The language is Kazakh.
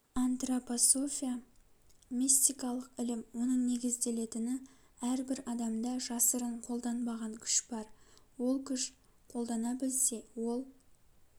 антропософия мистикалық ілім оның негізделетіні әрбір адамда жасырын қолданбаған күш бар ол күш қолдана білсе ол